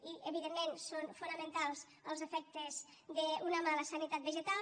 i evidentment són fonamentals els efectes d’una mala sanitat vegetal